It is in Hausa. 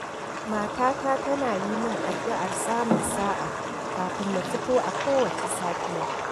Matata tana yi min addu'ar samun sa'a kafin na fito a kowace safiya.